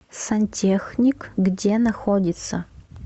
сантехник где находится